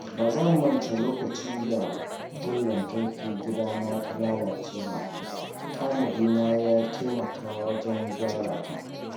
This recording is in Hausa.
Ba zan manta lokacin da wutar lantarkin gidana ta lalace ba, tanadina ya taimaka wajen gyara ta.